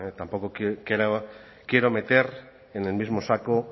tampoco quiero meter en el mismo saco